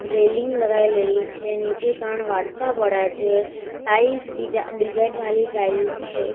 Railing લગાઈલેલી છે નીચે ત્રણ વાડકા પડ્યા છે ટાઇલ્સ ડીજા ડિઝાઇન વાલી ટાઇલ છે.